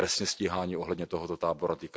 i trestně stíháni ohledně tohoto tábora.